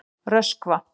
Röskva